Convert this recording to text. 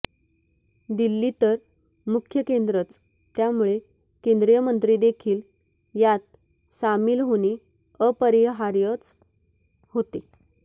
दिल्ली तर मुख्य केंद्रच त्यामुळे केंद्रीय मंत्रीदेखील यात सामील होणे अपरिहार्यच होते